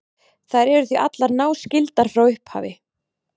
Þær eru því allar náskyldar frá upphafi.